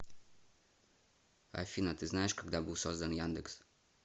афина ты знаешь когда был создан яндекс